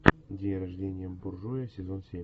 день рождения буржуя сезон семь